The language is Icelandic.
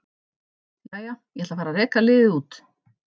Jæja, ég ætla að fara að reka liðið út.